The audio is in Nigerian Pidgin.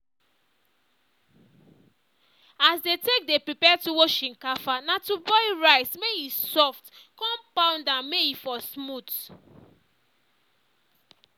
as dey take dey prepare tuwo shinkafa na to boil rice may e soft con pound am may e for smooth